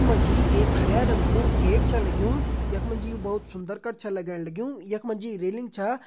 यख मा जी एक हरयां रंग कु गेट छ लग्युं यख मा जी यु बहोत सुन्दर कर छ लगण लग्युं यख मा जी रेलिंग छा।